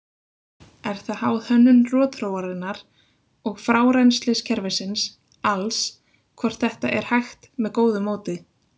Er það háð hönnun rotþróarinnar og frárennsliskerfisins alls hvort þetta er hægt með góðu móti.